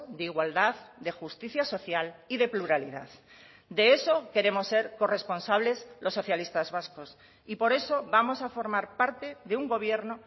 de igualdad de justicia social y de pluralidad de eso queremos ser corresponsables los socialistas vascos y por eso vamos a formar parte de un gobierno